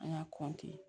An y'a